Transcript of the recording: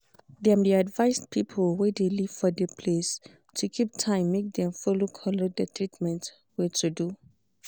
dem de advised people wey de live for de place to keep time make dem follow collect de treatment wey to do.